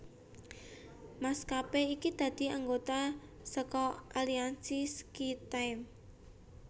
Maskapé iki dadi anggota saka aliansi SkyTeam